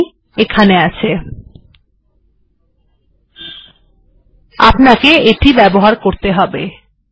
এটি এখানে আছে আপনাকে এটিকে ব্যবহার করতে হবে